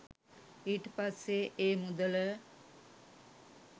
ඊට පස්සේ ඒ මුදල